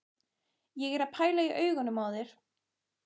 Ég er að pæla í augunum á þér.